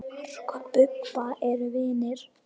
Mark og Bubba eru vinir.